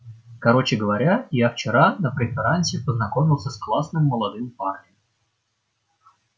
короче говоря я вчера на преферансе познакомился с классным молодым парнем